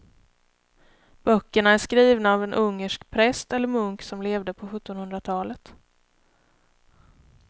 Böckerna är skrivna av en ungersk präst eller munk som levde på sjuttonhundratalet.